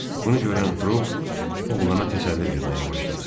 Bunu görən Trup, oğlana təsəlli verməyə başladı.